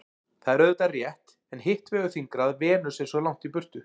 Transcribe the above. Það er auðvitað rétt en hitt vegur þyngra að Venus er svo langt í burtu.